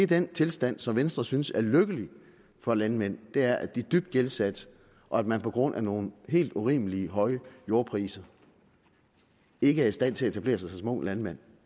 den tilstand som venstre synes er lykkelig for landmænd er at de er dybt gældsat og at man på grund af nogle helt urimeligt høje jordpriser ikke er i stand til etablere sig som ung landmand